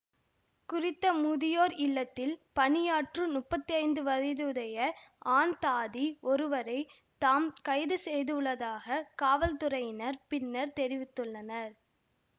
குறித்த முதியோர் இல்லத்தில் பணியாற்றும் முப்பத்தி ஐந்து வயதுடைய ஆண் தாதி ஒருவரை தாம் கைது செய்துள்ளதாக காவல்துறையினர் பின்னர் தெரிவித்துள்ளனர்